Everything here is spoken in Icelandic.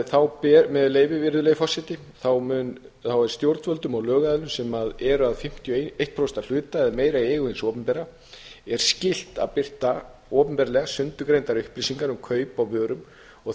með frumvarpinu með leyfi forseta þá er stjórnvöldum og lögaðilum sem eru að fimmtíu og eitt prósent að hluta í eigu hins opinbera er skylt að birta opinberlega sundurgreindar upplýsingar um kaup á vörum og